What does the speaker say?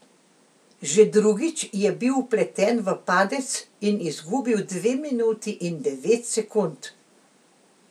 Že drugič je bil vpleten v padec in izgubil dve minuti in devet sekund.